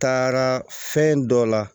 Taara fɛn dɔ la